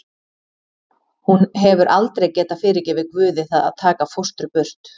Hún hefur aldrei getað fyrirgefið Guði það að taka fóstru burt.